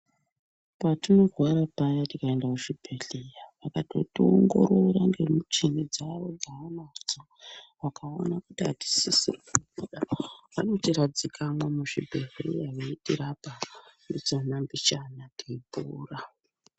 Patinorwara paya tikaenda kuchibhehleya vakatoti ongorora nemichini dzawo dzaanadzo vakaona kuti atisisi kubuda vanotiradzikamwo muzvibhehleya veitirapa mbichana mbichana teipora.